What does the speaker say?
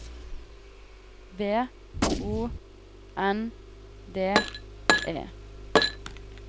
V O N D E